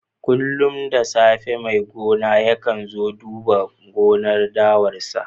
Kullum da safe mai gonar yakan zo duba gonar dawan sa.